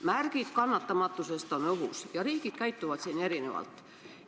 Märgid kannatamatusest on õhus ja riigid käituvad siin erinevalt.